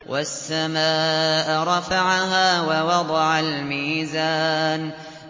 وَالسَّمَاءَ رَفَعَهَا وَوَضَعَ الْمِيزَانَ